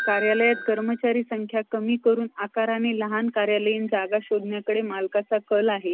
Hi अशुल्क काय करतोय?